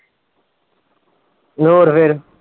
ਹੋਰ ਫਿਰ।